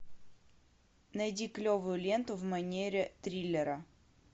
найди клевую ленту в манере триллера